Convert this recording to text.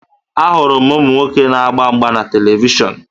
Ahụrụ m ụmụ nwoke na-agba mgba na televishọn